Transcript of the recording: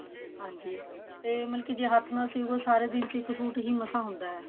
ਹਾਂਜੀ ਤੇ ਮਲਕੀ ਜੇ ਹੱਥ ਨਾਲ ਸਿਵੋ ਤਾਂ ਸਾਡੇ ਦਿਨ ਚ ਇੱਕ suit ਹੀ ਮਸਾ ਹੁੰਦਾ